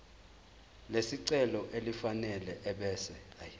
lesicelo elifanele ebese